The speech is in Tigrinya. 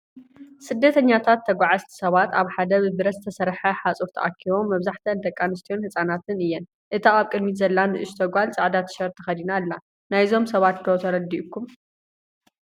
ስደተኛታት/ተጓዓዝቲ ሰባት ኣብ ሓደ ብብረት ዝተሰርሐ ሓጹር ተኣኪቦም። መብዛሕትአን ደቂ ኣንስትዮን ህጻናትን እየን፡ እታ ኣብ ቅድሚት ዘላ ንእሽቶ ጓል ጻዕዳ ቲሸርት ተኸዲና ኣላ። ናይዞም ሰባት ዶ ተረዲኢኩም?